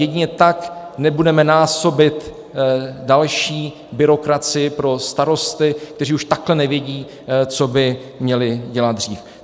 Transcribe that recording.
Jedině tak nebudeme násobit další byrokracii pro starosty, kteří už takhle nevědí, co by měli dělat dřív.